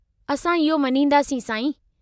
असीं इहो मञींदासीं, साईं।